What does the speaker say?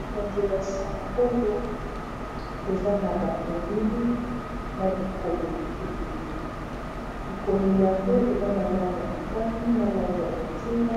epanzele ya sango oyo eza na ba elili na bikomeli ebele bikomeli yango eza na lange ya motani na lange ya bondinga